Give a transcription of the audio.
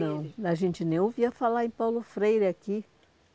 Não, a gente nem ouvia falar em Paulo Freire aqui.